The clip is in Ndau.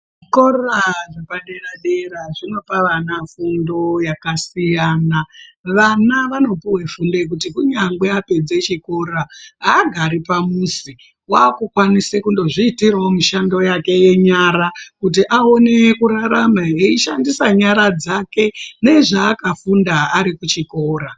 Zvikora zvepadera dera zvinopa vana fundo yakasiyana vana vanopuwe fundo yekuti kunyangwe apedze chikora aagari pamuzi wakukwanisa kunozviitirawo mishando yake yenyara kuti aone kurarama eishandise nyara dzake nezvaakafunda arikuchikora.